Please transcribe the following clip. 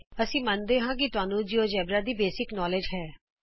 ਅਸੀਂ ਮੰਨਦੇ ਹਾਂ ਕਿ ਤੁਹਾਨੂੰ ਜਿਉਜੇਬਰਾ ਦਾ ਮੁੱਢਲਾ ਗਿਆਨ ਹੈ